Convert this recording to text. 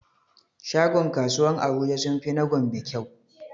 Shagon kasuwan abuja sunfi na gombe kyau